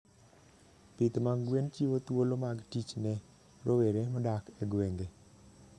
Pith mag gwen chiwo thuolo mag tich ne rowere modak e gwenge.